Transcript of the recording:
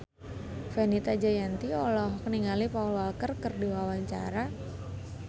Fenita Jayanti olohok ningali Paul Walker keur diwawancara